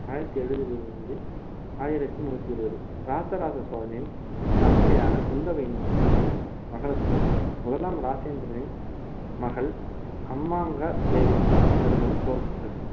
ஆயிரத்தி எழுபதிலிருந்து ஆயிரத்தி நூத்தி இருபது ராஜராஜ சோழனின் தமக்கையான குந்தவையின் மகனும் மகளுக்கும் முதலாம் ராஜேந்திரனின் மகள் அம்மாங்கா தேவிக்கும் பிறந்தவன் குலோத்துங்கன்